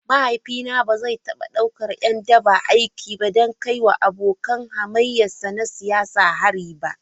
Mahaifina ba zai taba daukar ’yan daba aiki don kai wa abokan hamayyarsa na siyasa hari ba.